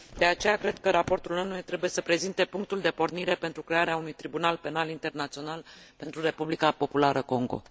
De aceea cred că raportul ONU trebuie să prezinte punctul de pornire pentru crearea unui Tribunal Penal Internațional pentru Republica Populară Congo.